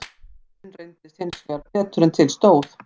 Kvarðinn reyndist hins vegar betur en til stóð.